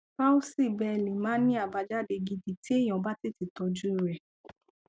palsy bell máa ń ní àbájáde gidi tí èèyàn bá tètè tọjú u rẹ